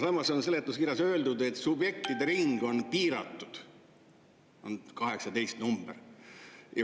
Samas on seletuskirjas öeldud, et subjektide ring on piiratud, 18 on see number.